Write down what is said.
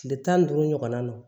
Kile tan ni duuru ɲɔgɔnna don